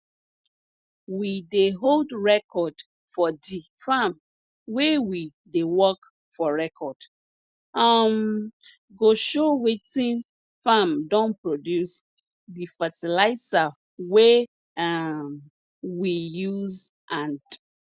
we dey hold record for di farm wey we dey work for record um go show wetin farm don produce di fertilizah wey um we use and